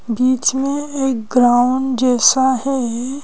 बीच में एक ग्राउंड जैसा है।